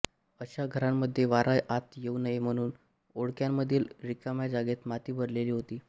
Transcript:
अशा घरांमध्ये वारा आत येऊ नये म्हणून ओंडक्यांमधील रिकाम्या जागेत माती भरलेली होती